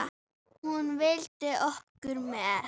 Hún vildi okkur vel.